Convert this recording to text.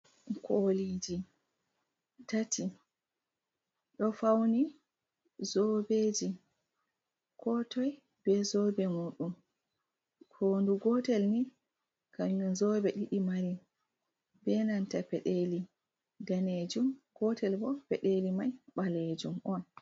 Koliji tati do fauni zobeji, kotoi be zobe muɗum hondu gotel ni kanjum zobe ɗiɗi mari, be nanta peɗeli danejum, gotelbo peɗeli mai ɓalejum on.